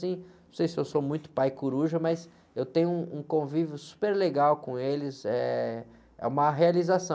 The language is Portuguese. Assim... Não sei se eu sou muito pai coruja, mas eu tenho um convívio super legal com eles, eh, é uma realização.